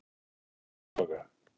Húsabakka